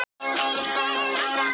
Já, sagði Sveinn og leit á Lóu.